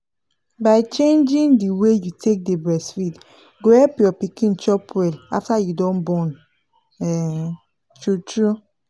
by changing the way you take dey breastfeed go help your pikin chop well after you don born um true true